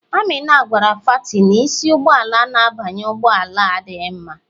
Amina gwara fati na isi n'ụgbọala na-abanye ụgbọ ala adịghị mma.